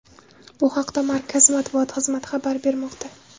Bu haqda Markaz matbuot xizmati xabar bermoqda.